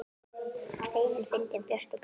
Feimin, fyndin, björt og blíð.